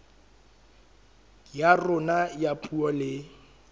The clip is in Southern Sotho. ya rona ya puo le